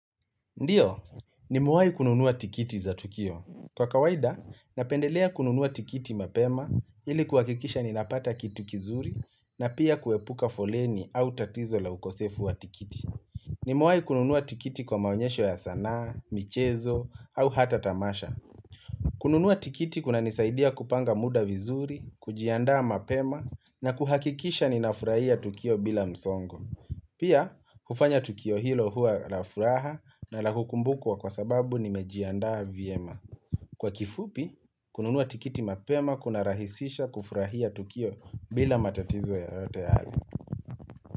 Ndio, nimewai kununua tikiti za Tukio. Kwa kawaida, napendelea kununua tikiti mapema ili kuhakikisha ninapata kitu kizuri na pia kuepuka foleni au tatizo la ukosefu wa tikiti. Ni mewai kununua tikiti kwa maonyesho ya sanaa, michezo au hata tamasha. Kununua tikiti kuna nisaidia kupanga muda vizuri, kujiandaa mapema na kuhakikisha ninafurahia Tukio bila msongo. Pia, hufanya Tukio hilo huwa la furaha na la hukumbukwa kwa sababu ni mejiandaa vyema. Kwa kifupi, kununua tikiti mapema kunarahisisha kufurahia Tukio bila matatizo yayote hayo.